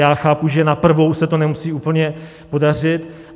Já chápu, že na prvou se to nemusí úplně podařit.